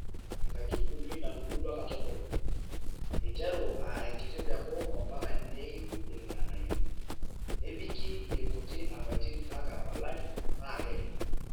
Enkaitubului natubulua katukul, eiteru aa enkiti peku ompaka neiu irng`anayio, nebiki irkuti apaitin mpaa olari paa keye.